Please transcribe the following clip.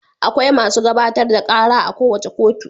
Akwai masu gabatar da ƙara a kowace kotu.